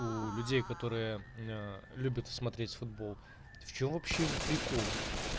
у людей которые любят смотреть футбол в чем вообще прикол